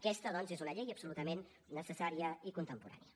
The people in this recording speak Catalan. aquesta doncs és una llei absolutament necessària i contemporània